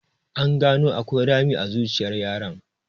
An gano akwai rami a zuciyar yaron.